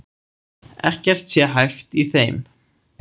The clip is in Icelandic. Ekkert sé hæft í þeim